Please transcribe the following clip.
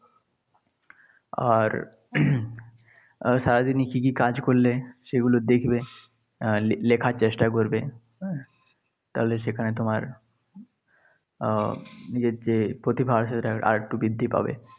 আর সারাদিনে কী কী কাজ করলে সেগুলো দেখবে, লেখার চেষ্টা করবে। হ্যাঁ, তাহলে সেখানে তোমার আহ নিজের যে প্রতিভা আছে সেটা আরেকটু বৃদ্ধি পাবে।